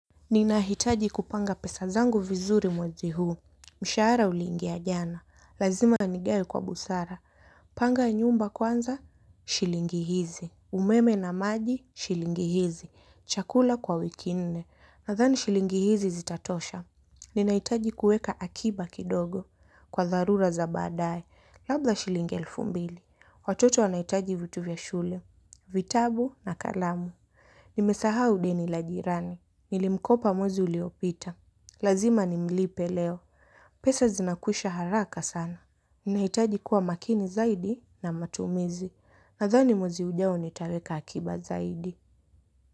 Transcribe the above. Ninahitaji kupanga pesa zangu vizuri mwezi huu, mshahara uliingi jana, lazima nigawe kwa busara, panga nyumba kwanza, shilingi hizi, umeme na maji, shilingi hizi, chakula kwa wiki nne, nadhani shilingi hizi zitatosha. Ninahitaji kuweka akiba kidogo, kwa tharura za baadaye, labda shilingi elfu mbili, watoto wanahitaji vitu vya shule, vitabu na kalamu. Nimesahau deni la jirani. Nilimkopa mwezi uliopita. Lazima nimlipe leo. Pesa zinakusha haraka sana. Ninahitaji kuwa makini zaidi na matumizi. Nathani mwezi ujao nitaweka akiba zaidi.